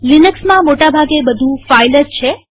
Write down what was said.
લિનક્સમાં મોટા ભાગે બધું ફાઈલ જ છે